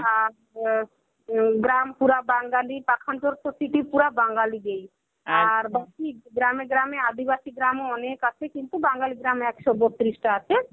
আ প গ্রাম পুরা বাঙালির পাখানপুর প্রতিটি পুরা বাঙালিদের আর গ্রামে গ্রামে আদিবাসী গ্রামও অনেক আছে, কিন্তু বাঙালি গ্রাম একশ বত্রিশটা আছে.